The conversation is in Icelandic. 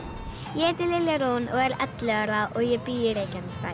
ég heiti Lilja Rún og er ellefu ára og ég bý í Reykjanesbæ